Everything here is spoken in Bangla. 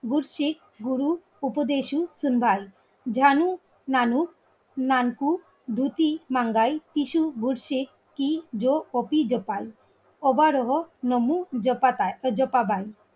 বুঝছি গুরু উপদেশু সিন্দাল ঝানু নানু চাঙ্কু ধুতি টাঙ্গাই সিতু ভুরশি কপি জোকার ওভার হোক মনু জপাবাই